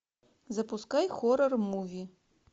запускай хоррор муви